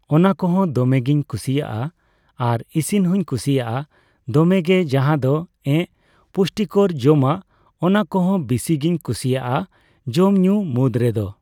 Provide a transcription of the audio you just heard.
ᱚᱱᱟ ᱠᱚᱦᱚ ᱸ ᱫᱚᱢᱮ ᱜᱤᱧ ᱠᱩᱥᱤᱣᱟᱜᱼᱟ᱾ ᱟᱨ ᱤᱥᱤᱱ ᱦᱩᱸᱧ ᱠᱩᱥᱤᱣᱟᱜᱼᱟ ᱫᱚᱢᱮ ᱜᱮ ᱡᱟᱦᱟᱫᱚ ᱮᱸᱜ ᱯᱩᱥᱴᱤᱠᱚᱨ ᱡᱚᱢᱟᱜ ᱚᱱᱟ ᱠᱚᱦᱚᱸ ᱵᱤᱥᱤ ᱜᱤᱧ ᱠᱩᱥᱤᱣᱟᱜᱼᱟ ᱡᱚᱢᱼᱧᱩ ᱢᱩᱫᱽ ᱨᱮ ᱨᱮᱫᱚ᱾